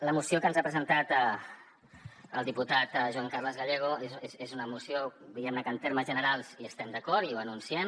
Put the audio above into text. la moció que ens ha presentat el diputat joan carles gallego és una moció diguem ne que en termes generals hi estem d’acord i ho anunciem